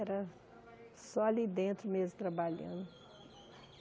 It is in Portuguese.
Era só ali dentro mesmo, trabalhando.